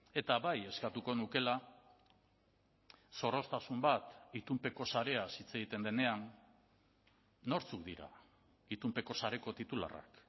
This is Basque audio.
eta bai eskatuko nukeela zorroztasun bat itunpeko sareaz hitz egiten denean nortzuk dira itunpeko sareko titularrak